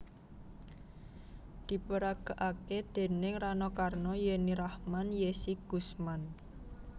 Diperagakake déning Rano Karno Yenny Rahman Yezzy Gusman